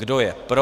Kdo je pro?